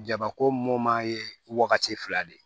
Jabako moman ye wagati fila de ye